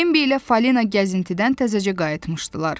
Bembi ilə Falina gəzintidən təzəcə qayıtmışdılar.